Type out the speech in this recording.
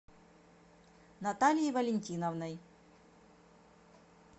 натальей валентиновной